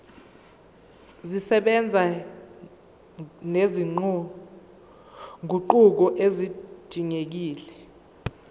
zisebenza nezinguquko ezidingekile